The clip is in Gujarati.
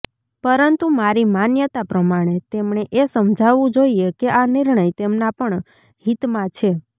પરંતુ મારી માન્યતા પ્રમાણે તેમણે એ સમજાવવું જોઈએ કે આ નિર્ણય તેમના પણ હિતમાં છે